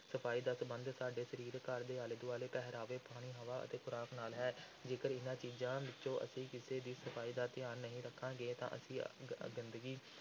ਸਫ਼ਾਈ ਦਾ ਸੰਬੰਧ ਸਾਡੇ ਸਰੀਰ, ਘਰ ਦੇ ਆਲੇ-ਦੁਆਲੇ, ਪਹਿਰਾਵੇ, ਪਾਣੀ, ਹਵਾ ਅਤੇ ਖ਼ੁਰਾਕ ਨਾਲ ਹੈ, ਜੇਕਰ ਇਨ੍ਹਾਂ ਚੀਜ਼ਾਂ ਵਿੱਚੋਂ ਅਸੀਂ ਕਿਸੇ ਦੀ ਸਫ਼ਾਈ ਦਾ ਧਿਆਨ ਨਹੀਂ ਰੱਖਾਂਗੇ ਤਾਂ ਅਸੀਂ ਗ ਗੰਦਗੀ,